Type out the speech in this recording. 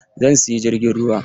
Zan siya jirgin ruwa.